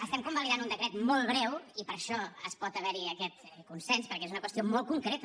estem convalidant un decret molt breu i per això pot haver hi aquest consens perquè és una qüestió molt concreta